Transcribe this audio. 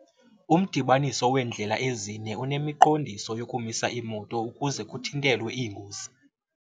Umdibaniso weendlela ezine unemiqondiso yokumisa iimoto ukuze kuthintelwe iingozi.